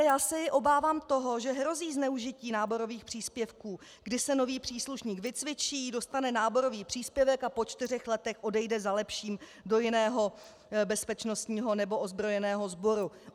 Víte, já se obávám toho, že hrozí zneužití náborových příspěvků, kdy se nový příslušník vycvičí, dostane náborový příspěvek a po čtyřech letech odejde za lepším do jiného bezpečnostního nebo ozbrojeného sboru.